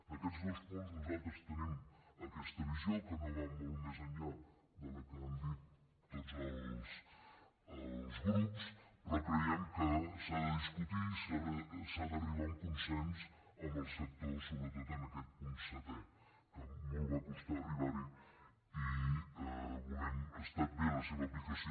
en aquests dos punts nosaltres tenim aquesta visió que no va molt més enllà de la que han dit tots els grups però creiem que s’ha de discutir i s’ha d’arribar a un consens amb el sector sobretot en aquest punt setè que molt va costar arribar·hi ha estat bé la seva aplicació